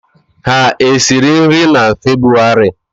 Ha esiri nri na febwarị?